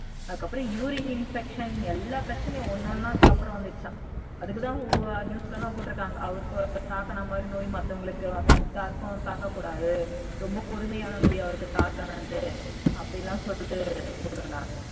அதுக்கப்புறம் urine infection எல்லா பிரச்சனையும் ஒன்னொன்னா அதுக்கு அப்புறம் வந்துடுச்சாம் அதுக்கு தான் news ல எல்லாம் போட்டு இருக்காங்க அவங்களுக்கு தாக்குன நோய் மத்தவங்களுக்கு யாருக்கும் தாக்க கூடாது ரொம்ப கொடுமையான நோய் அவருக்கு தாக்கினது அது அப்படின்னு சொல்லிட்டு போட்டு இருந்தாங்க